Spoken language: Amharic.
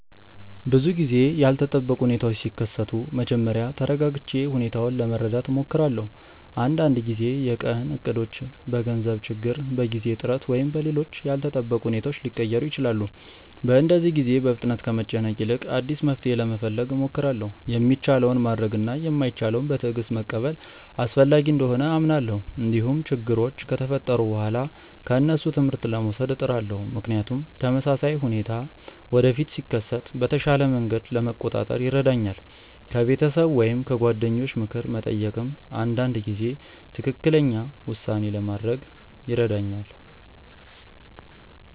ብዙ ጊዜ ያልተጠበቁ ሁኔታዎች ሲከሰቱ መጀመሪያ ተረጋግቼ ሁኔታውን ለመረዳት እሞክራለሁ። አንዳንድ ጊዜ የቀን እቅዶች በገንዘብ ችግር፣ በጊዜ እጥረት ወይም በሌሎች ያልተጠበቁ ሁኔታዎች ሊቀየሩ ይችላሉ። በእንደዚህ ጊዜ በፍጥነት ከመጨነቅ ይልቅ አዲስ መፍትሔ ለመፈለግ እሞክራለሁ። የሚቻለውን ማድረግ እና የማይቻለውን በትዕግስት መቀበል አስፈላጊ እንደሆነ አምናለሁ። እንዲሁም ችግሮች ከተፈጠሩ በኋላ ከእነሱ ትምህርት ለመውሰድ እጥራለሁ፣ ምክንያቱም ተመሳሳይ ሁኔታ ወደፊት ሲከሰት በተሻለ መንገድ ለመቆጣጠር ይረዳኛል። ከቤተሰብ ወይም ከጓደኞች ምክር መጠየቅም አንዳንድ ጊዜ ትክክለኛ ውሳኔ ለማድረግ ይረዳኛል።